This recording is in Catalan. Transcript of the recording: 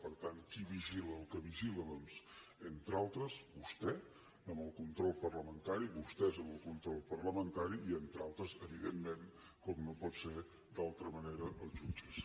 per tant qui vigila el que vigila doncs entre altres vostè amb el control parlamentari vostès amb el control parlamentari i entre altres evidentment com no pot ser d’altra manera els jutges